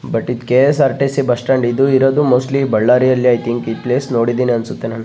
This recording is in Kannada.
ಬಟ್ ಇದು ಕೆ.ಎಸ್ಸ್.ಆರ್.ಟಿ.ಸಿ. ಬಸ್ಸ್ ಸ್ಟ್ಯಾಂಡ್ ಇದು ಇರೋದು ಮೋಸ್ಟ್ಲಿ ಬಳ್ಳಾರಿಯಲ್ಲಿ ಐ ತಿಂಕ್ ಈ ಪ್ಲೇಸ್ ನೋಡಿದೀನಿ ಅನ್ಸುತ್ತೆ ನಾನ್ .